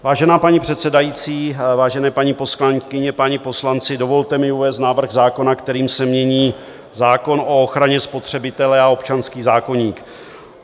Vážená paní předsedající, vážené paní poslankyně, páni poslanci, dovolte mi uvést návrh zákona, kterým se mění zákon o ochraně spotřebitele a občanský zákoník.